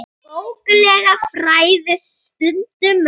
Bókleg fræði stunda menn.